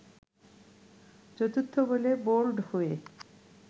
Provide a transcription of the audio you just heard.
চতুর্থ বলেই বোল্ড হয়ে